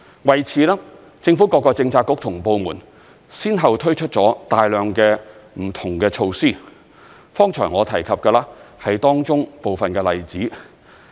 為此，政府各個政策局及部門先後推出了大量不同的措施，剛才我提及的是當中部分的例子。